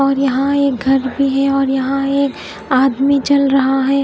और यहा एक घर भी है और यहा एक आदमी चल रहा है।